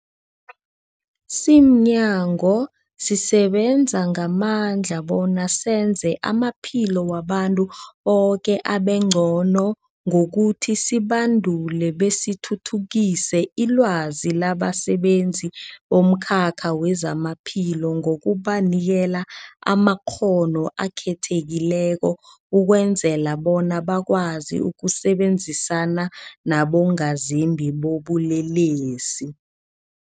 Simnyango, sisebenza ngamandla bona senze amaphilo wabantu boke abengcono ngokuthi sibandule besithuthukise ilwazi labasebenzi bomkhakha wezamaphilo ngokubanikela amakghono akhethekileko ukwenzela bona bakwazi ukusebenzisana nabongazimbi bobulelesi.